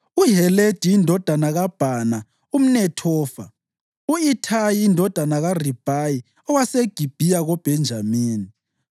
uHeledi indodana kaBhana umNethofa, u-Ithayi indodana kaRibhayi owaseGibhiya koBhenjamini,